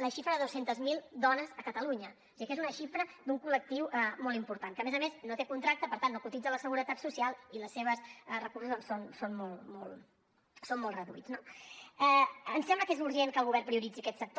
la xifra de dos cents miler dones a catalunya o sigui que és una xifra d’un col·lectiu molt important que a més a més no té contracte per tant no cotitza a la seguretat social i els seus recursos doncs són molt reduïts no ens sembla que és urgent que el govern prioritzi aquest sector